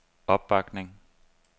opbakning